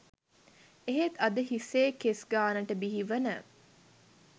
එහෙත් අද හිසේ කෙස් ගාණට බිහිවන